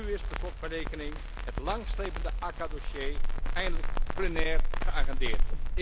Want nu is per slot van rekening het lang slepende ACAA dossier eindelijk plenair geagendeerd.